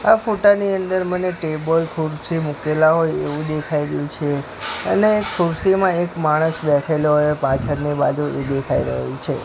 આ ફોટા ની અંદર મને ટેબલ ખુરસી મુકેલા હોય એવુ દેખાય રહ્યુ છે અને ખુરસીમાં એક માણસ બેઠેલો હોય પાછળની બાજુ એ દેખાય રહ્યુ છે.